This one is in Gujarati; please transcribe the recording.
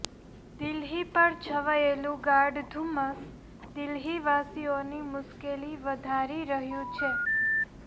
દિલ્હી પર છવાયેલું ગાઢ ધુમ્મસ દિલ્હીવાસીઓની મુશ્કેલી વધારી રહ્યું છે